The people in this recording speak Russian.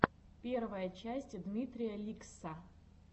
первая часть дмитрия ликсссса